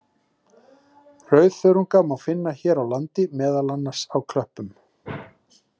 Rauðþörunga má finna hér á landi, meðal annars á klöppum.